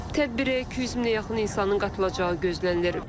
Tədbirə 200 minə yaxın insanın qatılacağı gözlənilir.